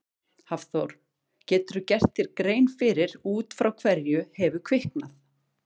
Hafþór: Geturðu gert þér grein fyrir út frá hverju hefur kviknað?